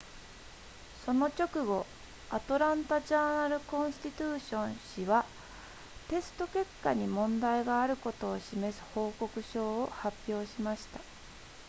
その直後アトランタジャーナルコンスティテューション誌はテスト結果に問題があることを示す報告書を発表しました